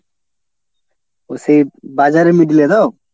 ও সে বাজারের middle এ তো?